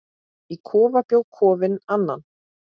Í kofa bjó Kofi Annan.